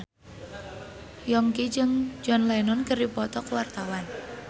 Yongki jeung John Lennon keur dipoto ku wartawan